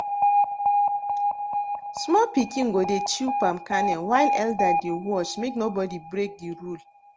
small pikin go dey chew palm kernel while elder dey watch make nobody break the rule